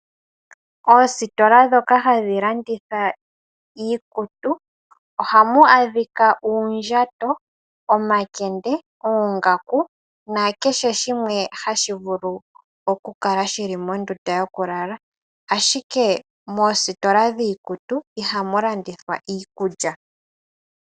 Oositola ndhoka hadhi landitha iikutu, oha mu adhika uundjato, omakende oongaku, na kehe shimwe ha shi vulu oku kala shi li mondunda yokulala ashike moositola dhiikutu iha mu landithwa iikulya.